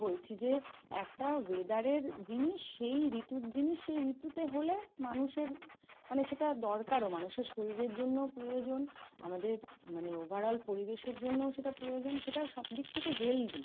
বলছি যে একটা weather এর জিনিস, সেই ঋতুর জিনিস সেই ঋতুতে হলে মানুষের মানে সেটা দরকারও, মানুষের শরীরের জন্য ও প্রয়োজন আমাদের মানে overall পরিবেশের জন্য ও সেটা প্রয়োজন, সেটা সব দিক থেকে healthy।